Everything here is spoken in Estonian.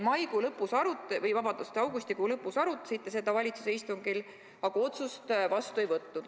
Augustikuu lõpus arutasite seda valitsuse istungil, aga otsust vastu ei võtnud.